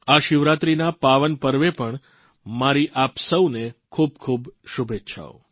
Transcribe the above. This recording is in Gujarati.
આ શિવરાત્રીના પાવન પર્વે પણ મારી આપ સૌને ખૂબખૂબ શુભેચ્છાઓ